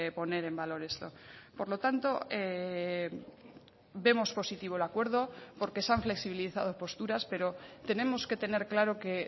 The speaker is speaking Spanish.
poner en valor esto por lo tanto vemos positivo el acuerdo porque se han flexibilizado posturas pero tenemos que tener claro que